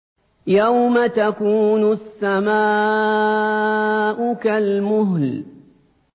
يَوْمَ تَكُونُ السَّمَاءُ كَالْمُهْلِ